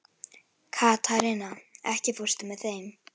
Katharina, ekki fórstu með þeim?